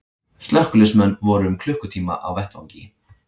Slökkviliðsmenn voru um klukkutíma á vettvangi